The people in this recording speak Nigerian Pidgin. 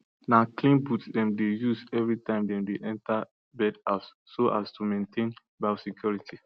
na clean booth them dey use every time dem dey enter bird house so as to maintain biosecurity